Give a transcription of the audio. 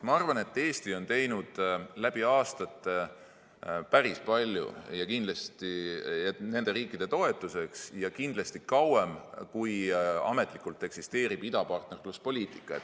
Ma arvan, et Eesti on teinud läbi aastate päris palju nende riikide toetuseks ja seda kindlasti kauem, kui ametlikult eksisteerib idapartnerluspoliitika.